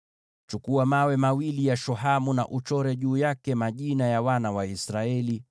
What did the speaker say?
“Chukua vito viwili vya shohamu, na uchore juu yake majina ya wana wa Israeli